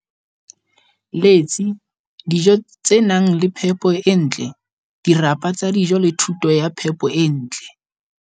Letsi, dijo tse nang le phepo e ntle, dirapa tsa dijo le thuto ya phepo e ntle.